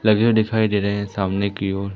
लगे हुए दिखाई दे रहे हैं सामने की ओर।